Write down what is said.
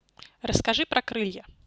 расскажи про крылья